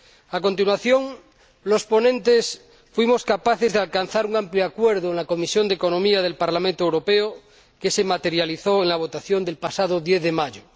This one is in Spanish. A continuación, los ponentes fuimos capaces de alcanzar un amplio acuerdo en la Comisión de Asuntos Económicos del Parlamento Europeo, que se materializó en la votación del pasado 10 de mayo.